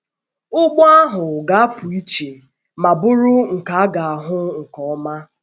Ụgbọ ahụ ga - apụ iche ma bụrụ nke a ga - ahụ nke ọma.